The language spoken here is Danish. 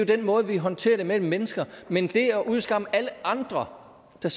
den måde vi håndterer det på mellem mennesker men det at udskamme alle andre der